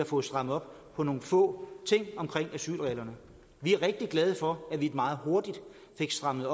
få strammet op på nogle få ting omkring asylreglerne vi er rigtig glade for at vi meget hurtigt fik strammet